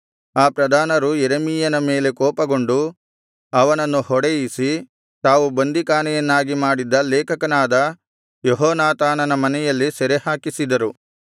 ಆ ಪ್ರಧಾನರು ಯೆರೆಮೀಯನ ಮೇಲೆ ಕೋಪಗೊಂಡು ಅವನನ್ನು ಹೊಡೆಯಿಸಿ ತಾವು ಬಂದಿಖಾನೆಯನ್ನಾಗಿ ಮಾಡಿದ್ದ ಲೇಖಕನಾದ ಯೆಹೋನಾಥಾನನ ಮನೆಯಲ್ಲಿ ಸೆರೆಹಾಕಿಸಿದರು